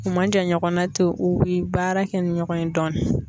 U man jan ɲɔgɔnna ten u bɛ baara kɛ ni ɲɔgɔn ye dɔɔni.